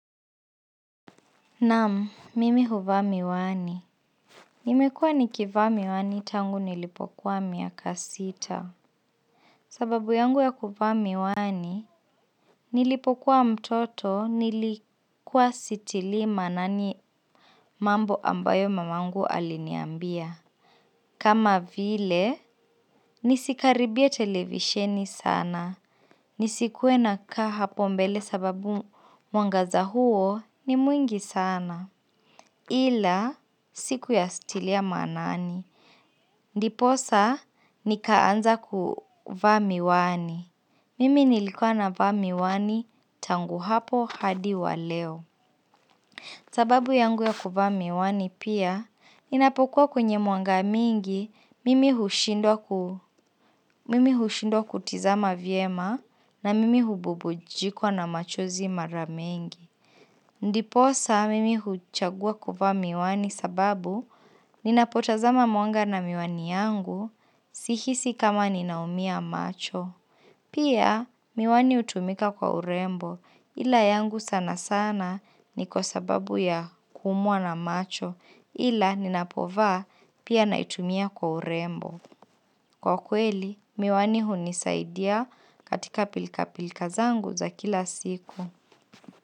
Naam, mimi huvaa miwani. Nimekua nikivaa miwani tangu nilipokuwa miaka sita. Sababu yangu ya kuvaa miwani, nilipokuwa mtoto nilikuwa sitilii maanani mambo ambayo mamangu aliniambia. Kama vile, nisikaribie televisheni sana. Nisikuwe nakaa hapo mbele sababu mwangaza huo ni mwingi sana. Ila sikuyatilia maanani. Ndiposa nikaanza kuvaa miwani mimi nilikuwa navaa miwani tangu hapo hadi wa leo. Sababu yangu ya kuvaa miwani pia, ninapokuwa kwenye mwanga mingi, mimi hushindwa mimi hushindwa kutizama vyema na mimi hububujikwa na machozi mara mingi. Ndiposa mimi huchagua kuvaa miwani sababu ninapotazama mwanga na miwani yangu, sihisi kama ninaumia macho. Pia miwani hutumika kwa urembo ila yangu sana sana ni kwa sababu ya kuumwa na macho ila ninapovaa pia naitumia kwa urembo. Kwa kweli, miwani hunisaidia katika pilka pilka zangu za kila siku.